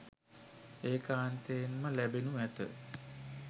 ඒකාන්තයෙන්ම ලෑබෙනු ඈත.